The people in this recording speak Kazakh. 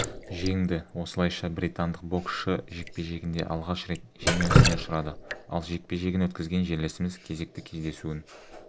жеңді осылайша британдық боксшы жекпе-жегінде алғаш рет жеңілісіне ұшырады ал жекпе-жегін өткізген жерлесіміз кезекті кездесуін